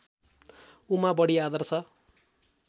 उमा बडी आदर्श